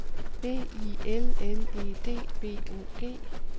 B I L L E D B O G